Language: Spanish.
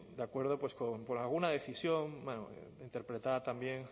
de acuerdo por alguna decisión interpretada también